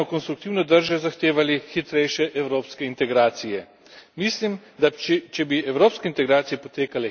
Mislim, da če bi evropske integracije potekale hitreje, bi bile razmere v Makedoniji in regiji stabilnejše.